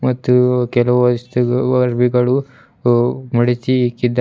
ಮತ್ತು ಕೆಲವು ವಸ್ತು ಅರವಿಗಳು ಮಡಚಿ ಇಕ್ಕಿದ್ದಾ--